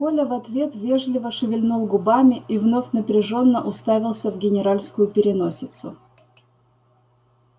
коля в ответ вежливо шевельнул губами и вновь напряжённо уставился в генеральскую переносицу